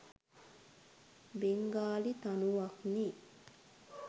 Bengali තනුවක්නේ.